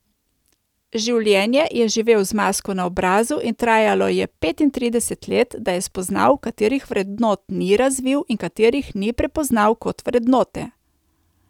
Življenje je živel z masko na obrazu in trajalo je petintrideset let, da je spoznal, katerih vrednot ni razvil in katerih ni prepoznal kot vrednote.